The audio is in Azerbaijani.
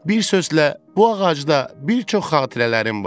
Bir sözlə, bu ağacda bir çox xatirələrim var.